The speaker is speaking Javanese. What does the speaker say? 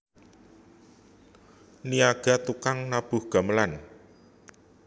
Niyaga tukang nabuh gamelan